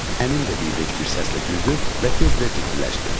Əmim də bivec bir səslə güldü və tezdən də ciddiləşdi.